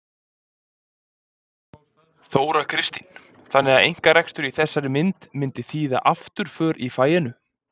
Þóra Kristín: Þannig að einkarekstur í þessari mynd myndi þýða afturför í faginu?